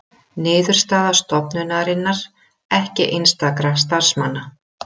Niðurstaða stofnunarinnar ekki einstakra starfsmanna